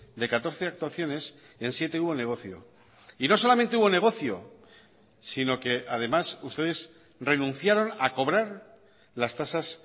de catorce actuaciones en siete hubo negocio y no solamente hubo negocio sino que además ustedes renunciaron a cobrar las tasas